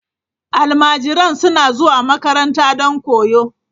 Almajiran suna zuwa makaranta don koyo.